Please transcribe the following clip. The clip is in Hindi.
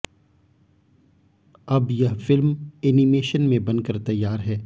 अब यह फिल्म एनीमेशन में बन कर तैयार है